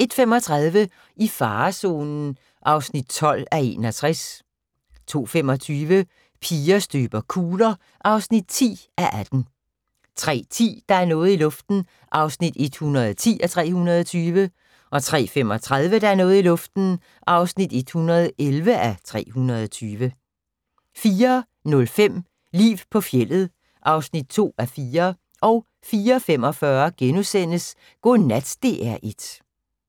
01:35: I farezonen (12:61) 02:25: Piger støber kugler (10:18) 03:10: Der er noget i luften (110:320) 03:35: Der er noget i luften (111:320) 04:05: Liv på fjeldet (2:4) 04:45: Godnat DR1 *